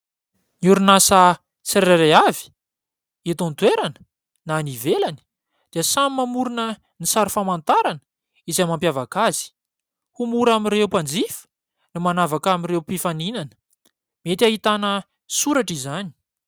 Ny orinasa tsirairay avy, eto an-toerana na any ivelany, dia samy mamorona ny sary famantarana izay mampiavaka azy ho mora amin'ireo mpanjifa ny manavaka amin'ireo mpifaninana. Mety hahitana soratra izany.